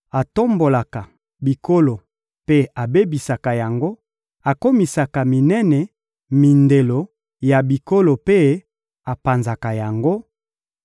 atombolaka bikolo mpe abebisaka yango, akomisaka minene mindelo ya bikolo mpe apanzaka yango;